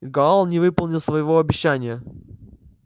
гаал не выполнил своего обещания